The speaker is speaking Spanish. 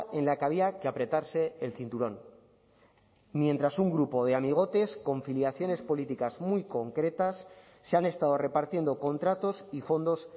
en la que había que apretarse el cinturón mientras un grupo de amigotes con filiaciones políticas muy concretas se han estado repartiendo contratos y fondos